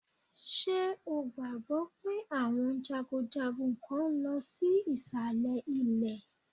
Ṣé o gbàgbọ́ pé àwọn jagunjagun kán lọ sí ìsàlẹ̀ ilẹ̀?